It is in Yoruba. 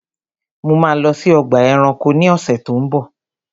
Mo ma lọ sí ọgbà ẹranko ni ọ̀sẹ̀ tó ń bọ̀.